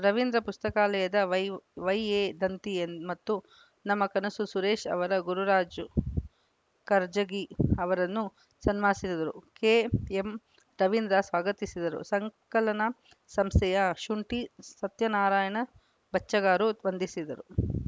ರವೀಂದ್ರ ಪುಸ್ತಕಾಲಯದ ವೈ ವೈಎದಂತಿ ಮತ್ತು ನಮ್ಮ ಕನಸು ಸುರೇಶ ಅವರು ಗುರುರಾಜ್ ಕರ್ಜಗಿ ಅವರನ್ನು ಸನ್ಮಾನಿಸಿದರು ಕೆಎಂರವೀಂದ್ರ ಸ್ವಾಗತಿಸಿದರು ಸಂಕಲನ ಸಂಸ್ಥೆಯ ಶುಂಠಿ ಸತ್ಯನಾರಾಯಣ ಬಚ್ಚಗಾರು ವಂದಿಸಿದರು